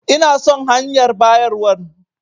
Ina son hanyar bayarwan.